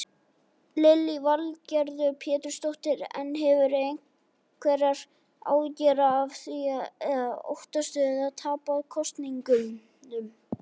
Lillý Valgerður Pétursdóttir: En hefurðu einhverjar áhyggjur af því eða óttastu að tapa kosningunum?